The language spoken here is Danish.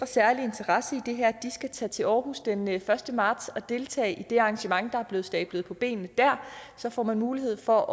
særlig interesse i det her skal tage til aarhus den første marts og deltage i det arrangement der er blevet stablet på benene der så får man mulighed for